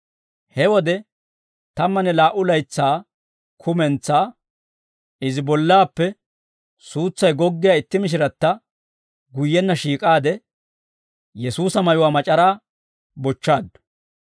He wode tammanne laa"u laytsaa kumentsaa, izi bollaappe suutsay goggiyaa itti mishiratta guyyenna shiik'aade, Yesuusa mayuwaa mac'araa bochchaaddu.